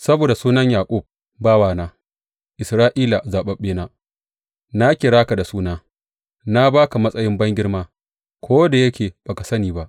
Saboda sunan Yaƙub bawana, Isra’ila zaɓaɓɓena, na kira ka da suna na ba ka matsayin bangirma, ko da yake ba ka san ni ba.